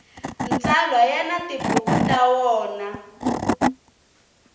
mtsalwa ya ni tibuku ta wona